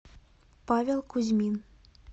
павел кузьмин